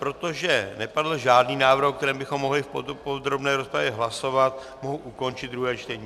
Protože nepadl žádný návrh, o kterém bychom mohli v podrobné rozpravě hlasovat, mohu ukončit druhé čtení.